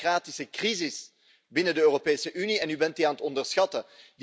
Er is een democratische crisis binnen de Europese Unie, en u bent die aan het onderschatten.